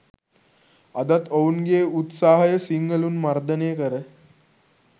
අදත් ඔවුන්ගේ උත්සහය සිංහලුන් මර්දනය කර